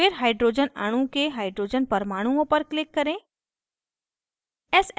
फिर hydrogen अणु के hydrogen परमाणुओं पर click करें